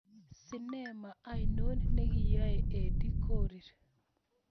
Sinemo ainon negiyai Edie Korir